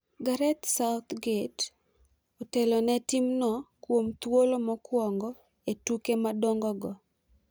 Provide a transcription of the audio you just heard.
Gareth Southgate otelone timno kuom thuolo mokwongo e tuke madongo go.